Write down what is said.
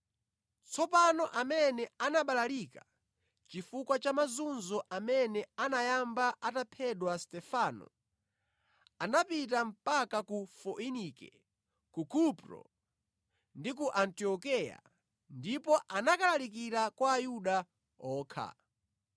Tsopano amene anabalalika chifukwa cha mazunzo amene anayamba ataphedwa Stefano, anapita mpaka ku Foinike, ku Kupro ndi ku Antiokeya, ndipo ankalalikira kwa Ayuda okha.